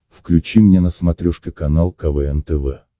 включи мне на смотрешке канал квн тв